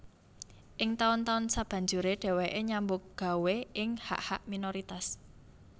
Ing taun taun sabanjuré dhèwèké nyambut gawé ing hak hak minoritas